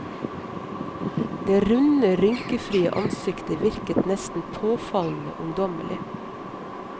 Det runde, rynkefrie ansiktet virket nesten påfallende ungdommelig.